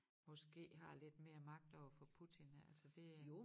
Måske har lidt mere magt overfor Putin ja altså det